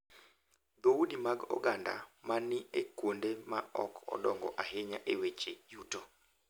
Dhoudi mag oganda ma ni e kuonde ma ok odongo ahinya e weche yuto